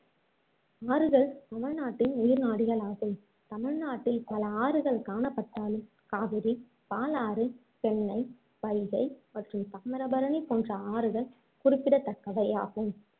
ஆறுகள் தமிழ்நாட்டின் உயிர்நாடிகளாகும் தமிழ்நாட்டில் பல ஆறுகள் காணப்பட்டாலும் காவிரி, பாலாறு, பெண்ணை, வைகை மற்றும் தாமிரபரணி போன்ற ஆறுகள் குறிப்பிடத்தக்கவை ஆகும்